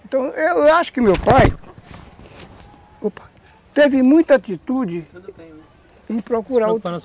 Então, eu acho que meu pai, opa, teve muita atitude, tudo bem, se preocupa não em procurar